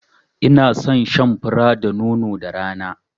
I na son shan fura da nono da rana